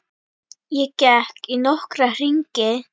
Ég gekk í nokkra hringi.